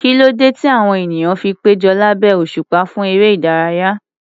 Kí ló dé tí àwọn ènìyàn fi péjọ lábẹ́ òṣùpá fún eré ìdárayá?